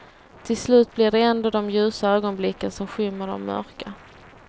Till slut blir det ändå de ljusa ögonblicken som skymmer de mörka.